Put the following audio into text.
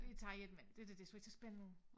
Vi tager ind imellem det dér det så ikke så spændende ud